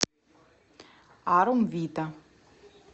арум вита